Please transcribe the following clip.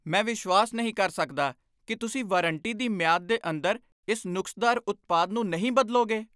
ਮੈਂ ਵਿਸ਼ਵਾਸ ਨਹੀਂ ਕਰ ਸਕਦਾ ਕਿ ਤੁਸੀਂ ਵਾਰੰਟੀ ਦੀ ਮਿਆਦ ਦੇ ਅੰਦਰ ਇਸ ਨੁਕਸਦਾਰ ਉਤਪਾਦ ਨੂੰ ਨਹੀਂ ਬਦਲੋਗੇ।